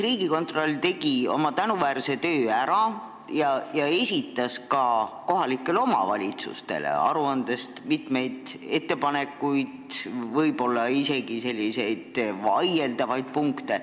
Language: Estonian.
Riigikontroll tegi oma tänuväärse töö ära ja esitas kohalikele omavalitsustele aruandes mitmeid ettepanekuid, võib-olla isegi selliseid vaieldavaid punkte.